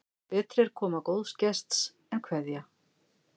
Betri er koma góðs gests en kveðja.